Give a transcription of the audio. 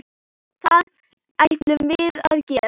Það ætlum við að gera.